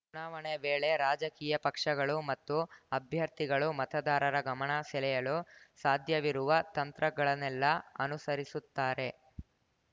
ಚುನಾವಣೆ ವೇಳೆ ರಾಜಕೀಯ ಪಕ್ಷಗಳು ಮತ್ತು ಅಭ್ಯರ್ಥಿಗಳು ಮತದಾರರ ಗಮನ ಸೆಳೆಯಲು ಸಾಧ್ಯವಿರುವ ತಂತ್ರಗಳನೆಲ್ಲಾ ಅನುಸರಿಸುತ್ತಾರೆ